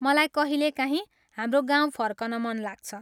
मलाई कहिलेकाहीँ हाम्रो गाउँ फर्कन मन लाग्छ।